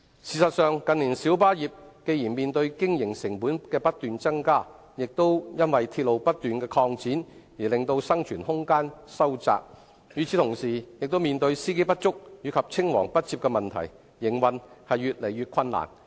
事實上，近年小巴業既面對經營成本不斷增加，又因鐵路不斷擴展而令生存空間收窄，與此同時，亦面對司機不足及青黃不接的問題，營運越來越困難。